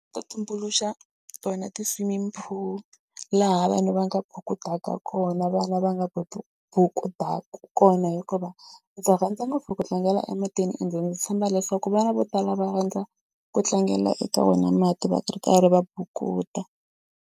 Ta tumbuluxa ta wena ti-swimming pool laha vanhu va nga bukutaka kona vana va nga bukutaka kona hikuva ndzi rhandza ngopfu ku tlangela ematini ende ndzi tshemba leswaku vana vo tala va rhandza ku tlangela eka wena mati va ri karhi va bukuta.